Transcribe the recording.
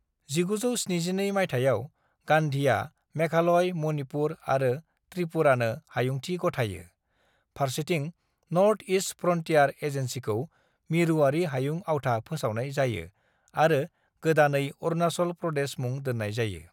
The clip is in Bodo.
"1972 मायथाइयाव, गांधीआ मेघालय, मणिपुर आरो त्रिपुरानो हायुंथि गथायो, फारसेथिं नर्थ-ईस्ट फ्रन्टियार एजेन्सीखौ मिरुआरि हायुं आवथा फोसावनाय जायो आरो गोदानै अरुणाचल प्रदेश मुं दोननाय जायो।"